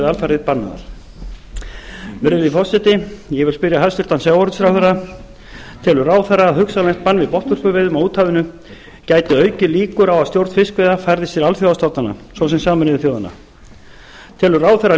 alfarið bannaðar virðulegi forseti ég vil spyrja hæstvirtan sjávarútvegsráðherra fyrstu telur ráðherra að hugsanlegt bann við botnvörpuveiðum á úthafinu gæti aukið líkur á að stjórn fiskveiða færðist til alþjóðastofnana svo sem sameinuðu þjóðanna annars telur ráðherra